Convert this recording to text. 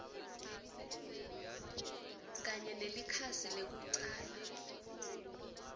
kanye nelikhasi lekucala